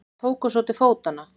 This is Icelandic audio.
Tóku svo til fótanna.